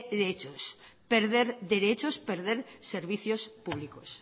derechos perder derechos perder servicios públicos